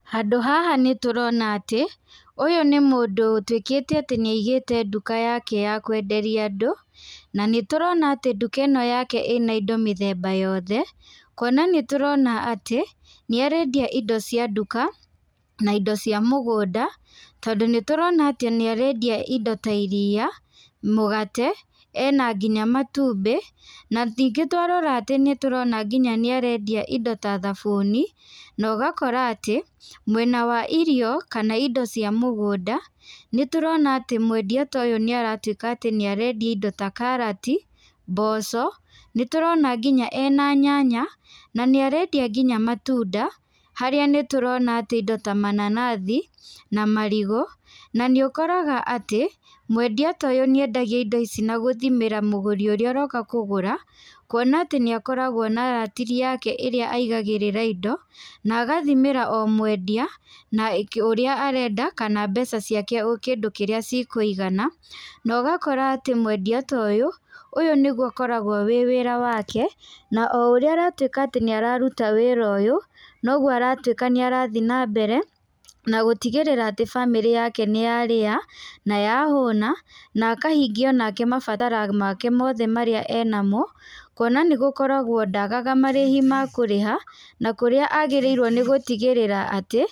Handũ haha nĩ tũrona atĩ, ũyũ nĩ mũndũ ũtuĩkĩte atĩ nĩ aigĩte nduka yake ya kwenderia andũ. Na nĩ tũrona atĩ nduka ĩno yake ĩna indo mĩthemba yothe. Kuona nĩ tũrona atĩ, nĩ arendia indo cia nduka, na indo cia mũgũnda, tondũ nĩ tũrona atĩ nĩ arendia indo ta iriia, mũgate, ena nginya matumbĩ. Na ningĩ twarora atĩ nĩ tũrona nginya nĩ arendia indo ta thabuni, na ũgakora atĩ, mwenda wa irio, kana indo cia mũgũnda, nĩ tũrona atĩ mwendia ta ũyũ nĩ aratuĩka atĩ nĩ arendia indo ta karati, mboco. Nĩ tũrona nginya ena nyanya, na nĩ arendia nginya matunda, harĩa nĩ tũrona atĩ indo ta mananathi, na marigũ. Na nĩ ũkoraga atĩ, mwendia ta ũyũ nĩ endagia indo ici na gũthimĩra mũgũri ũrĩa ũroka kũgũra. Kuona atĩ nĩ akoragwo na ratiri yake ĩrĩa aigagĩrĩra indo, na agathimĩra o mwendia, na ũrĩa arenda, kana mbeca ciake kĩndũ kĩrĩa cikũigana. Na ũgakora atĩ mwendia ta ũyũ, ũyũ nĩguo akoragwo wĩ wĩra wake, na o ũrĩa aratuĩka atĩ nĩ araruta wĩra ũyũ, noguo aratuĩka nĩ arathi na mbere, na gũtigĩrĩra atĩ bamĩrĩ yake nĩ yarĩa, na yahũna, na akahingia onake mabatara make mothe marĩa enamo. Kuona nĩ gũkoragwo ndagaga marĩhi ma kũrĩha, na kũrĩa agĩrĩirwo nĩ gũtigĩrĩra atĩ.